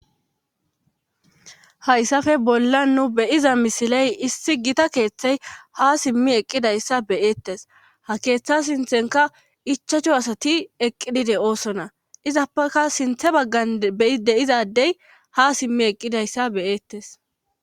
hayssafe bolla nu beyiza misiley issi gita keeththey ha simmi eqqidayssa beyeettes ha keeththa sinthenka ichacho asati eqqidide oosona izappaka sinthe baggan beyi de izadey ha simmi eqqidayssa beyeettes